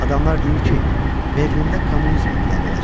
Adamlar deyir ki, Berlində kommunizm inqilabı olacaq.